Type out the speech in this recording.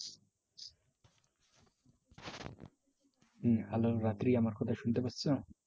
হুম hello রাত্রি আমার কথা শুনতে পারছ?